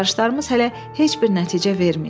Axtarışlarımız hələ heç bir nəticə verməyib.